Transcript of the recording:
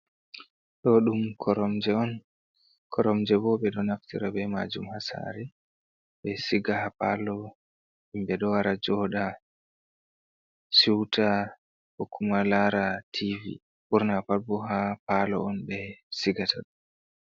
Ɗo ɗum koromje on, kormje bo ɓe ɗo naftira be maajum ha sare. Ɓe siga ha palo, himɓe ɗo wara jooɗa siuta, ko kuma lara tivi. Ɓurna pat bo ha palo on ɓe sigata ɗo.